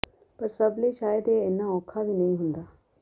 ਪਰ ਸਭ ਲਈ ਸ਼ਾਇਦ ਇਹ ਇੰਨਾ ਔਖਾ ਵੀ ਨਹੀਂ ਹੁੰਦਾ